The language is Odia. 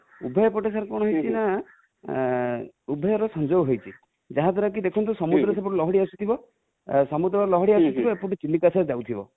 ଉଭୟପଟେ sir କଣ ହେଇଛି ନା, ଉଭୟ ର ସଂଯୋଗ ହେଇଛି|ଯାହା ଦ୍ୱାରା କି ଦେଖନ୍ତୁ ସମୁଦ୍ର ସେପଟୁ ଲହଡି ଆସୁଥିବ, ସମୁଦ୍ର ଲହଡି ଆସୁ ଥିବ ଏପଟୁ ଚିଲିକା sir